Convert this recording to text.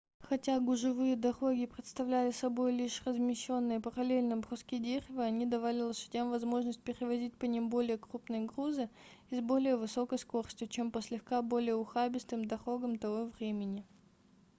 хотя гужевые дороги представляли собой лишь размещенные параллельно бруски дерева они давали лошадям возможность перевозить по ним более крупные грузы и с более высокой скоростью чем по слегка более ухабистым дорогам того времени